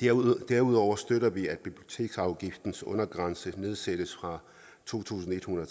derudover derudover støtter vi at biblioteksafgiftens undergrænse nedsættes fra to tusind en hundrede